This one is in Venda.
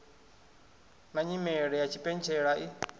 na nyimele ya tshipentshela i